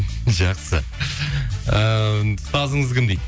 жақсы ыыы ұстазыңыз кім дейді